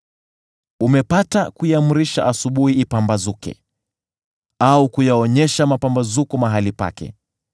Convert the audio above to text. “Umepata kuiamrisha asubuhi ipambazuke, au kuyaonyesha mapambazuko mahali pake,